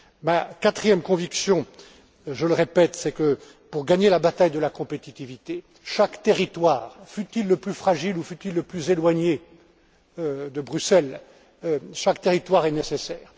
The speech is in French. Ma quatrième conviction, je le répète, c'est que pour gagner la bataille de la compétitivité, chaque territoire, fût il le plus fragile ou fût il le plus éloigné de Bruxelles, est nécessaire.